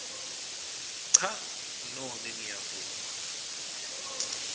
cha nobe ngiyavuma